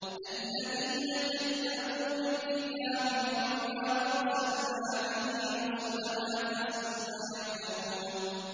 الَّذِينَ كَذَّبُوا بِالْكِتَابِ وَبِمَا أَرْسَلْنَا بِهِ رُسُلَنَا ۖ فَسَوْفَ يَعْلَمُونَ